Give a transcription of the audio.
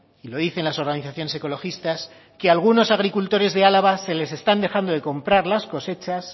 y lo dicen las organizaciones ecologistas que algunos agricultores de álava se les están dejando de comprar las cosechas